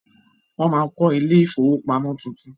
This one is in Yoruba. Wọ́n ma kọ ilé ìfowópamọ́ tuntun.